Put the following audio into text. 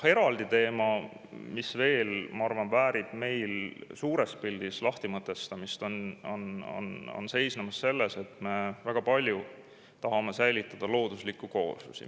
Eraldi teema, mis veel, ma arvan, väärib meil suures pildis lahtimõtestamist, seisneb selles, et me väga palju tahame säilitada looduslikke kooslusi.